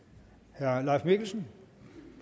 herre leif mikkelsen